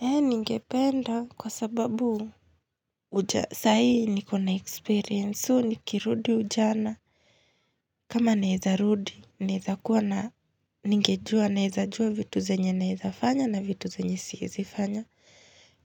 Ningependa kwa sababu. Uja sahi nikona experience so nikirudi ujana. Kama naeza rudi naeza kuwa na ningejua naeza jua vitu zenye naeza fanya na vitu zenye siezi fanya.